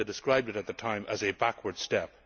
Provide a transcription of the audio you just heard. They described it at the time as a backward step.